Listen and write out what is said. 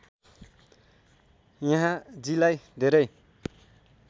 यहाँजीलाई धेरै